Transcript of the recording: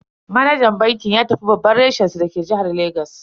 Manajan bankin ya tafi babban reshen su dake jihar Legas.